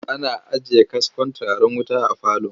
Ana ajiye kaskon turaren wuta a falo.